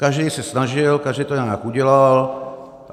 Každý se snažil, každý to nějak udělal.